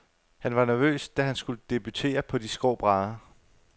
Han var nervøs, da han skulle debutere på de skrå brædder.